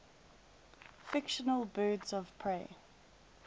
fictional birds of prey